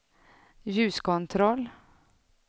ljuskontroll